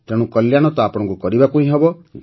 ତେଣୁ କଲ୍ୟାଣ ତ ଆପଣଙ୍କୁ କରିବାକୁ ହିଁ ହେବ